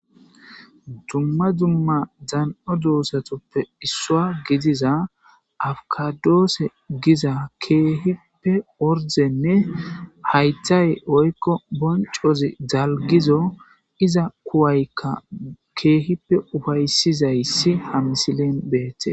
Dumma dumma dan7o doozatuppe issuwa gidiza afikaadoose giza keehippe ordenne haythay woykko bonccozi dalggizo iza kuwaykka keehippe ufaysizayssi ha misilen beetees.